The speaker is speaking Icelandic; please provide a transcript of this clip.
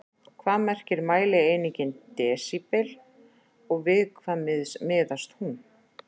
Hvað merkir mælieiningin desíbel og við hvað miðast hún?